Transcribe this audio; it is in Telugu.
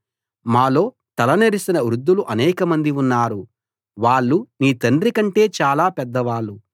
మాలో తల నెరసిన వృద్ధులు అనేకమంది ఉన్నారు వాళ్ళు నీ తండ్రి కంటే చాలా పెద్దవాళ్ళు